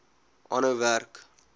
aanhou werk